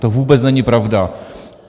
To vůbec není pravda.